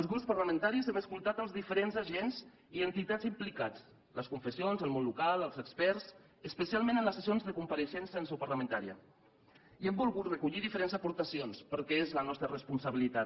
els grups parlamentaris hem escoltat els diferents agents i entitats implicats les confessions el món local els experts especialment en les sessions de compareixença en seu parlamentària i hem volgut recollir diferents aportacions perquè és la nostra responsabilitat